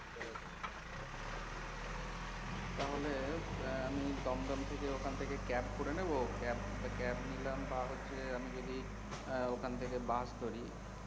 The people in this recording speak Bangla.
তাহলে আহ আমি দমদম থেকে ওখান থেকে cab করে নেব cab cab নিলাম বা হচ্ছে আমি যদি আহ ওখান থেকে বাস ধরি,